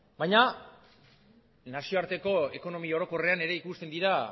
baina nazioarteko ekonomi orokorrean ere ikusten dira